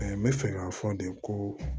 n bɛ fɛ k'a fɔ de ko